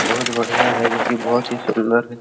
बहुत बढ़िया है जो की बहुत ही सूंदर है |